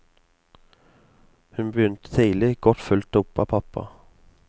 Hun begynte tidlig, godt fulgt opp av pappa.